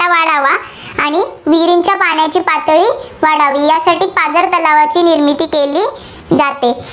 वाढावा, आणि विहिरींच्या पाण्याची पातळी वाढावी यासाठी पाझर तलावांची निर्मिती केली जाते.